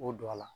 O don a la